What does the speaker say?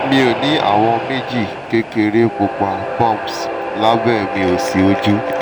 mo ni awọn meeji kekere pupa bumps labẹ mi osi oju